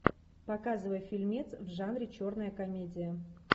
показывай фильмец в жанре черная комедия